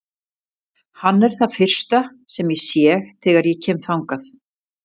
Hann er það fyrsta sem ég sé þegar ég kem þangað.